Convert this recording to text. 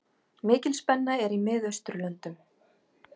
Mikil spenna er í Miðausturlöndum.